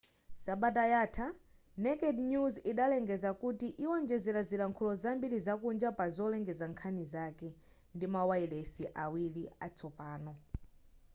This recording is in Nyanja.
sabata yatha naked news idalengeza kuti iwonjezera zilankhulo zambiri zakunja pa zolengeza nkhani zake ndimawayilesi awiri atsopano